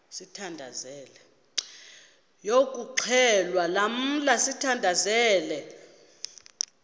yokuxhelwa lamla sithandazel